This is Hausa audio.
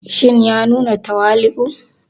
Shin ya nuna tawali'u?